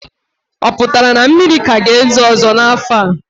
O pụtara na mmiri ka ga-ezo ọzọ n'afọ a?